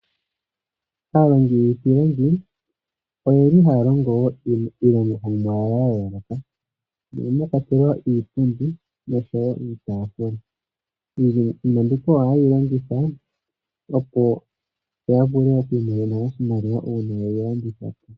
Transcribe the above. Aalongi yiipilangi oyeli haya longo wo iilongomwa yawo ya yooloka mono mwa kwatelwa iipundi oshowo iitafula iinima mbika ohayeyi longitha opo ya vule oku imonena oshimaliwa uuna yeyi landitha .